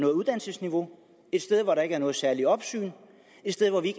uddannelsesniveau et sted hvor der ikke er noget særligt opsyn et sted hvor vi